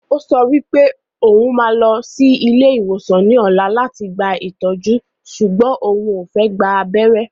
Ó sọ pé òun máa lọ sí ilé ìwòsàn ní ọ̀la láti gba ìtọ́jú sùgbọ́n òun ò fẹ́ gba abẹ́rẹ́